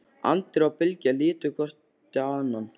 Andri og Bylgja litu hvort á annað.